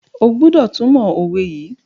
O gbódò túmọ òwe yí!